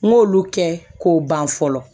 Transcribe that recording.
N k'olu kɛ k'o ban fɔlɔ